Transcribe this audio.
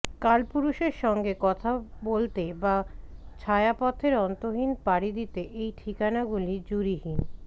কালপুরুষের সঙ্গে কথা বলতে বা ছায়াপথের অন্তহীনে পাড়ি দিতে এই ঠিকানাগুলি জুড়িহীন